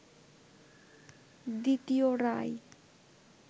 দ্বিতীয় রায়